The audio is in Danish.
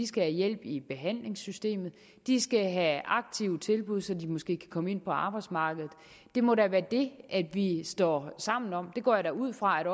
skal have hjælp i behandlingssystemet de skal have aktive tilbud så de måske kan komme ind på arbejdsmarkedet det må da være det vi står sammen om og det går jeg ud fra at